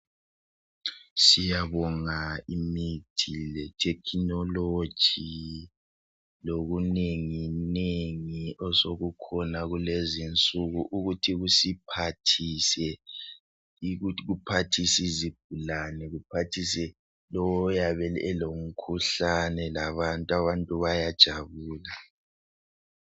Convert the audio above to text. Siyabonga imithi le technology lokunenginengi osokukhona kulezinsuku ukuthi kusiphathise. Kuphathise izigulane kuphathise lowo oyabe elomkhuhlane labantu. Abantu bayajabula.